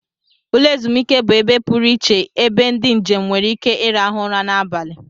Ụlọ ezumike bụ ebe pụrụ iche ebe ndị njem nwere ike ịrahụ ụra n'abalị